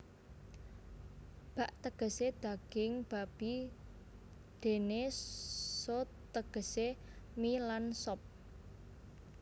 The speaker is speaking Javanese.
Bak tegesé daging babi déné so tegesé mi lan sop